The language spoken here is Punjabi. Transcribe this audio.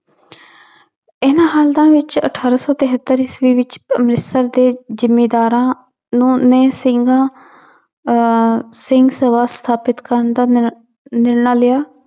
ਇਹਨਾਂ ਹਾਲਤਾਂ ਵਿੱਚ ਅਠਾਰਾਂ ਸੌ ਤਹੇਤਰ ਈਸਵੀ ਵਿੱਚ ਅੰਮ੍ਰਿਤਸਰ ਦੇ ਜ਼ਿੰਮੀਦਾਰਾਂ ਨੂੰ ਨੇ ਸਿੰਘਾਂ ਅਹ ਸਿੰਘ ਸਭਾ ਸਥਾਪਿਤ ਕਰਨ ਦਾ ਨਿਰ~ ਨਿਰਣਾ ਲਿਆ।